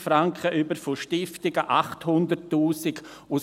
25’000 Franken, von Stiftungen 800’000 Franken;